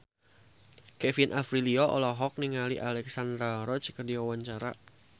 Kevin Aprilio olohok ningali Alexandra Roach keur diwawancara